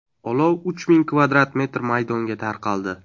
Olov uch ming kvadrat metr maydonga tarqaldi.